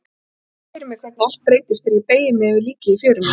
Ég sé fyrir mér hvernig allt breytist þegar ég beygi mig yfir líkið í fjörunni.